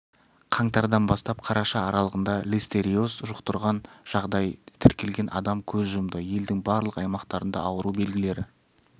қаңтардан бастап қараша аралығында листериоз жұқтұрған жағдай тіркелген адам көз жұмды елдің барлық аймақтарында ауру белгілері